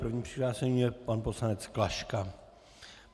Prvním přihlášeným je pan poslanec Klaška.